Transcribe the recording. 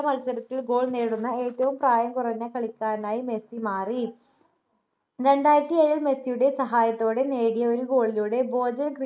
മത്സരത്തിൽ goal നേടുന്ന ഏറ്റവും പ്രായം കുറഞ്ഞ കളിക്കാരനായി മെസ്സി മാറി രണ്ടായിരത്തി ഏഴിൽ മെസ്സിയുടെ സഹായത്തോടെ നേടിയ ഒരു goal ലൂടെ ബോജൻ